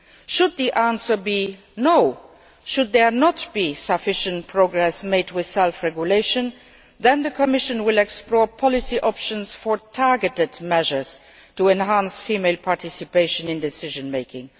Should it be no should there be insufficient progress with self regulation then the Commission will explore policy options for targeted measures to enhance female participation in decision making.